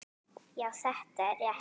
Já, þetta er rétt.